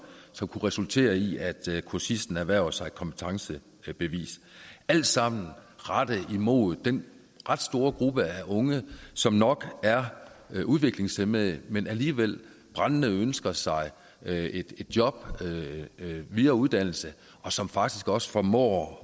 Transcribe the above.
som kunne resultere i at kursisten erhvervede sig et kompetencebevis alt sammen rettet imod den ret store gruppe af unge som nok er udviklingshæmmede men alligevel brændende ønsker sig et job videre uddannelse og som faktisk også formår